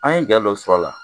An ye jɛ dɔ sɔrɔ a la.